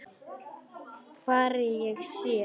Hvar ég sé.